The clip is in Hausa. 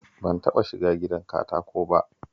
Ban taɓa shiga gidan katako ba